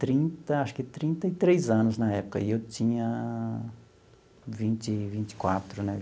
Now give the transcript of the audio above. Trinta, acho que trinta e três anos na época, e eu tinha vinte vinte e quatro, né?